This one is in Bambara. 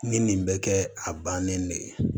Ni nin bɛ kɛ a bannen ne ye